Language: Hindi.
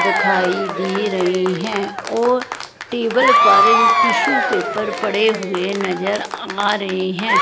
दिखाई दे रही हैं और टेबल पर टिशू पेपर पड़े हुए नजर आ रहे हैं।